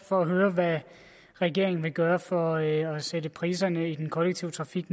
for at høre hvad regeringen vil gøre for at sætte priserne i den kollektive trafik